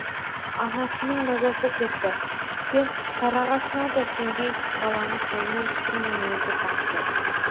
анасының мазасы кетті тіптен кәрі ағасына да сенбей баланы қолынан түсірмей өзі бақты